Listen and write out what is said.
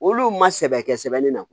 Olu ma sɛbɛ kɛ sɛbɛnni na